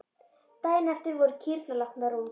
Daginn eftir voru kýrnar látnar út.